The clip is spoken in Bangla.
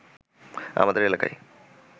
আমাদের এলাকায়